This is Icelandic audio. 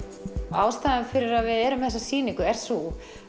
ástæðan fyrir því að við erum með þessa sýningu er sú